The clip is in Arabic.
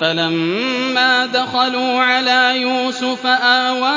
فَلَمَّا دَخَلُوا عَلَىٰ يُوسُفَ آوَىٰ